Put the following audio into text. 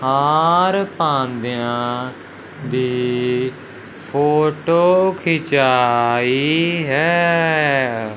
हार पांदया दी फोटो खींचाई है।